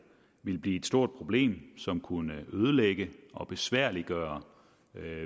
ville blive et stort problem som kunne ødelægge og besværliggøre